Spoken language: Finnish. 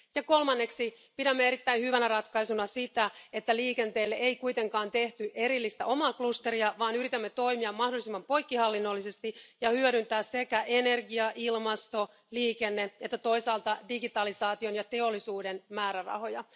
Kolmanneksi pidämme erittäin hyvänä ratkaisuna sitä, että liikenteelle ei kuitenkaan tehty erillistä omaa klusteria, vaan yritämme toimia mahdollisimman poikkihallinnollisesti ja hyödyntää sekä energia ilmasto liikenne että toisaalta digitalisaation ja teollisuuden määrärahoja.